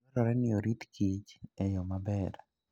Dwarore ni orit kich e yo maber.